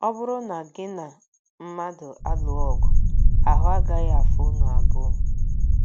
Ọ bụrụ na gị na mmadụ alụọ ọgụ, ahụ́ agaghị afọ unu abụọ.